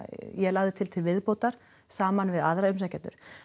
ég lagði til til viðbótar saman við aðra umsækjendur